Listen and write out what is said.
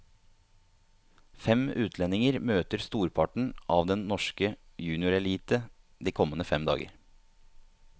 Fem utlendinger møter storparten av den norske juniorelite de kommende fem dager.